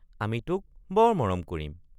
আমি তোক বৰ মৰম কৰিম।